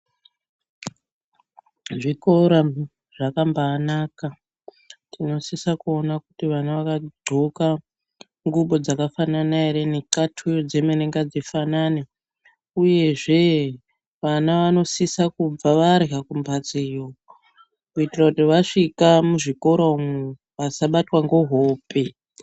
Zvikora zvakambanaka, kunosisa kuona kuti wana waghloka ngubo dzakafanana ere, ngekhatu dzemene ngadzifanane, uye zvee wana wanosisa kubva warya kumbatso iyo kuti wasvika kuzvikora iyo wasabatwa ngohope.